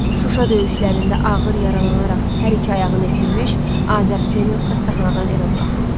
Şuşa döyüşlərində ağır yaralanaraq hər iki ayağını itirmiş Azərhüseynov xəstəxanadan evə buraxıldı.